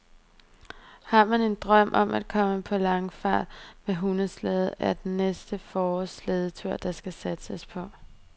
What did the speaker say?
Har man en drøm om at komme på langfart med hundeslæde, er det næste forårs slædeture, der skal satses på.